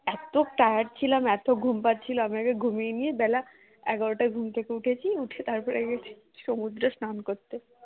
এত tired ছিলাম এত ঘুম পাচ্ছিল আমরা ঘুমিয়ে নিয়ে বেলা এগারো টা ঘুম থেকে উঠেছি, উঠে তার পরে গেছি সমুদ্র স্নান করতে